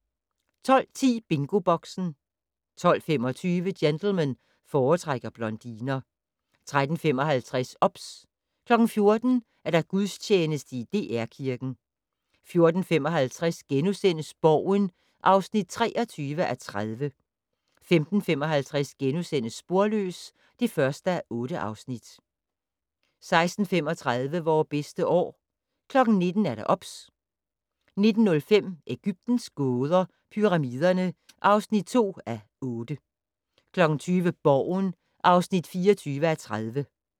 12:10: BingoBoxen 12:25: Gentlemen foretrækker blondiner 13:55: OBS 14:00: Gudstjeneste i DR Kirken 14:55: Borgen (23:30)* 15:55: Sporløs (1:8)* 16:35: Vore bedste år 19:00: OBS 19:05: Egyptens gåder - Pyramiderne (2:8) 20:00: Borgen (24:30)